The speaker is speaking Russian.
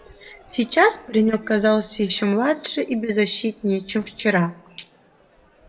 сейчас паренёк казался ещё младше и беззащитнее чем вчера